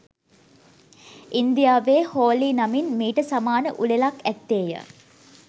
ඉන්දියාවේ හෝලි නමින් මීට සමාන උළෙලක් ඇත්තේය